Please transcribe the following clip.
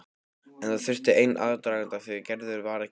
En það þurfti sinn aðdraganda því Gerður var ekki allra.